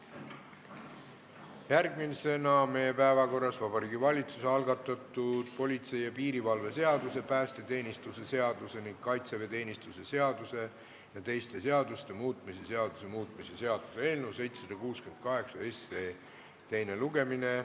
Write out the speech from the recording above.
Järgmisena on meie päevakorras Vabariigi Valitsuse algatatud politsei ja piirivalve seaduse, päästeteenistuse seaduse ning kaitseväeteenistuse seaduse ja teiste seaduste muutmise seaduse muutmise seaduse eelnõu 768 teine lugemine.